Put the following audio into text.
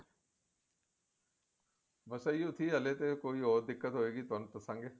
ਬੇ ਇਹੋ ਹੀ ਸੀ ਹਲੇ ਤੇ ਕੋਈ ਹੋਏ ਡਿੱਕਤ ਹੋਏਗੀ ਤੁਹਾਨੂੰ ਦੱਸਾਂਗੇ